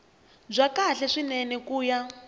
bya kahle swinene ku ya